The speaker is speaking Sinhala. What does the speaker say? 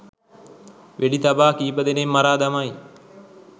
වෙඩි තබා කීප දෙනෙක් මරා දමයි..